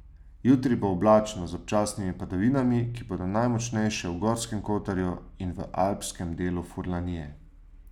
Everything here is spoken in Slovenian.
Jutri bo oblačno z občasnimi padavinami, ki bodo najmočnejše v Gorskem Kotarju in v alpskem delu Furlanije.